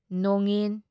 ꯅꯣꯉꯤꯟ